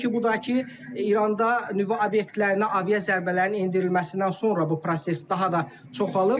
Təbii ki, bu da ki, İranda nüvə obyektlərinə aviazərbələrin endirilməsindən sonra bu proses daha da çoxalıb.